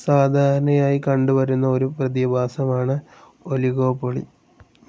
സാധാരണയായി കണ്ടുവരുന്ന ഒരു പ്രതിഭാസമാണ്‌ ഒലിഗോപൊളി.